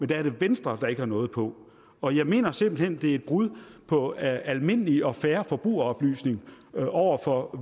det er venstre der ikke har noget på og jeg mener simpelt hen at det et brud på almindelig og fair forbrugeroplysning over for